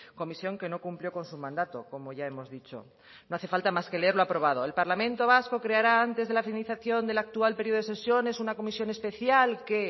comisión que no cumplió con su mandato como ya hemos dicho no hace falta más que leer lo aprobado el parlamento vasco creará antes de la finalización del actual periodo de sesiones una comisión especial que